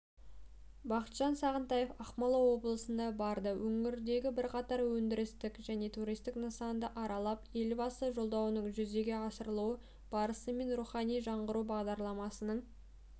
бақытжан сағынтаев ақмола облысына барды өңірдегі бірқатар өндірістік және туристік нысанды аралап елбасы жолдауының жүзеге асырылу барысы мен рухани жаңғыру бағдарламасының